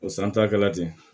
O san ta kɛra ten